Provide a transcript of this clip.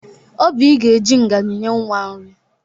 Obịị ga-eji ngaji nye nwa nri.